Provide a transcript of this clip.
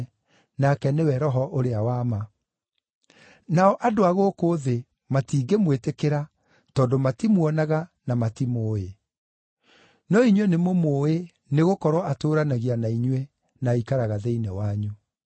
nake nĩwe Roho ũrĩa wa ma. Nao andũ a gũkũ thĩ matingĩmwĩtĩkĩra tondũ matimuonaga na matimũũĩ. No inyuĩ nĩmũmũĩ nĩgũkorwo atũũranagia na inyuĩ, na aikaraga thĩinĩ wanyu.